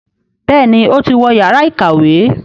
Béèni o tí wọ Yàrá ìkàwé.